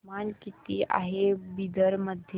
तापमान किती आहे बिदर मध्ये